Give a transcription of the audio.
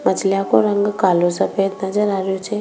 मछलिया को रंग कालो सफ़ेद नजर आ रो छे।